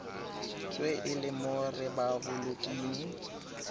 tswe e le mo repaboliking